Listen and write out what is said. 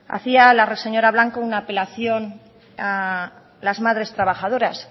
hacía la señora blanco una apelación a las madres trabajadoras